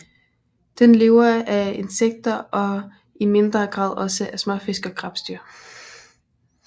Den lever af insekter og i mindre grad også af småfisk og krebsdyr